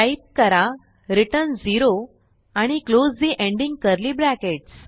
type करा return 0 आणि close ठे एंडिंग कर्ली ब्रॅकेट